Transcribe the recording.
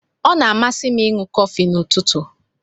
O na amasi 'm ịṅụ kofi na ụtụtụ.